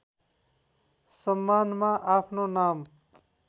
सम्मानमा आफ्नो नाम